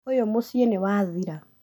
ũyũ mũciĩ nĩ wathira